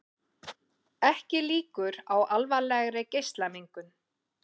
Ekki líkur á alvarlegri geislamengun